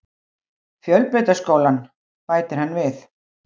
Fjölbrautaskólann, bætir hann við.